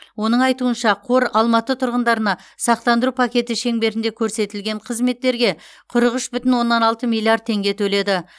оның айтуынша қор алматы тұрғындарына сақтандыру пакеті шеңберінде көрсетілген қызметтерге қырық үш бүтін оннан алты миллиард теңге төледі